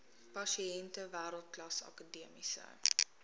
pasiënte wêreldklas akademiese